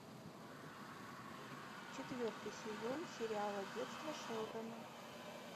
четвертый сезон сериала детство шелдона